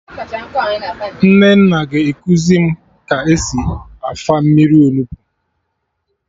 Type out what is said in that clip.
Nnenne ga-ekuzi m ka esi afa mmiri Onugbu